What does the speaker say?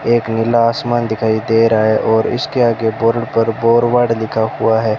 एक नीला आसमान दिखाई दे रहा है और इसके आगे बोर्ड पर फॉरवर्ड लिखा हुआ है।